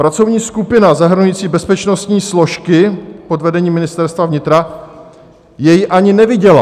Pracovní skupina zahrnující bezpečnostní složky pod vedením Ministerstva vnitra jej ani neviděla.